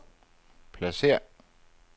pladsér